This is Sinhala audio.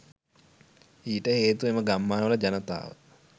ඊට හේතුව එම ගම්මානවල ජනතාව